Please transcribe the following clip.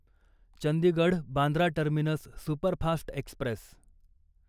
Chandigarh Bandra terminus superfast Express